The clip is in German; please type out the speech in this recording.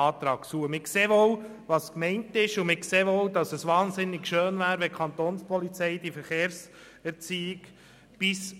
Wir sehen wohl, was gemeint ist und dass es wahnsinnig schön wäre, wenn die Kapo die Verkehrserziehung bis